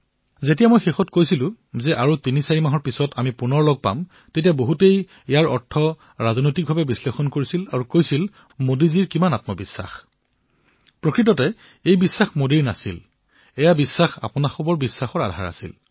যেতিয়া মই শেষত কৈছিলো যে আমি তিনিচাৰি মাহৰ পিছত লগ পাব তেতিয়া কিছুমান লোকে তাতো ৰাজনৈতিক অৰ্থ বিচাৰিছিল আৰু কৈছিল যে মোদী মহোদয়ৰ ইমান আত্মবিশ্বাস আত্মবিশ্বাশ মোদীৰ নাছিল এই বিশ্বাস আপোনালোকৰ বিশ্বাসৰ ভেটিৰ আছিল